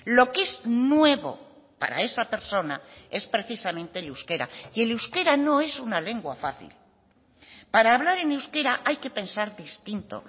lo que es nuevo para esa persona es precisamente el euskera y el euskera no es una lengua fácil para hablar en euskera hay que pensar distinto